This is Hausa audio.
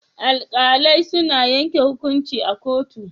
Alkalai suna yanke hukunci a kotu.